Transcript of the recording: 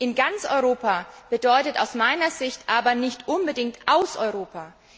In ganz Europa bedeutet aus meiner Sicht aber nicht unbedingt aus Europa.